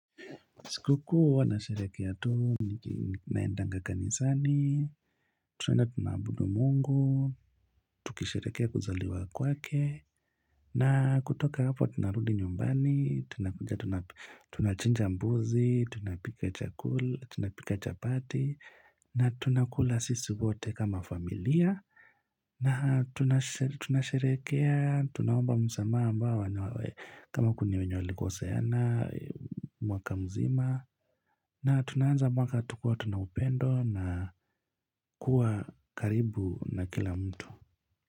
Sikukuu huwa nasherekea tu, tunaendanga kanisani, tunaenda tunaabudu mungu, tukisherehekea kuzaliwa kwake, na kutoka hapo tunarudi nyumbani, tunachinja mbuzi, tunapika chakula, tunapika chapati, na tunakula sisi wote kama familia. Na tunasherekea, tunaomba msamaha ambao wenye kama kuna wenye walikoseana, mwaka mzima na tunaanza mwaka tukiwa tuna upendo na kuwa karibu na kila mtu.